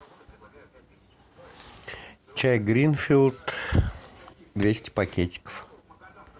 чай гринфилд двести пакетиков